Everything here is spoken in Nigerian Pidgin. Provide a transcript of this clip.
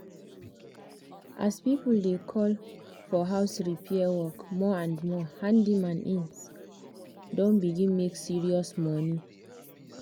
as people dey call for house repair work more and more handyman inc. don begin make serious money.